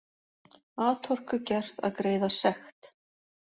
Atorku gert að greiða sekt